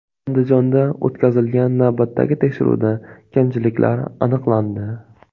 Andijonda o‘tkazilgan navbatdagi tekshiruvda kamchiliklar aniqlandi.